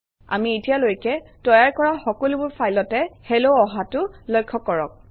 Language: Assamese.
আমি এতিয়ালৈকে তৈয়াৰ কৰা সকলোবোৰ ফাইলতে হেল্ল অহাটো লক্ষ্য কৰক